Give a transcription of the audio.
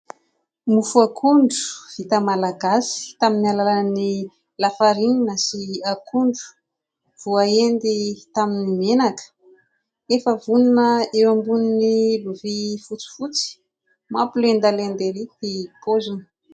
Mofo akondro vita malagasy, tamin'ny alalan'ny lafarinina sy akondro, voaendy tamin'ny menaka. Efa vonona eo ambonin'ny lovia fotsifotsy, mampilendalenda erỳ ny paoziny.